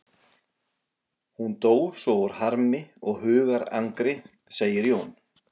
Hún dó svo úr harmi og hugarangri, segir Jón.